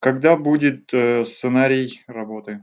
когда будет сценарий работы